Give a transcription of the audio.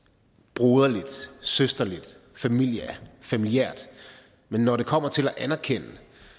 broderligt søsterligt familiært familiært men når det kommer til at anerkende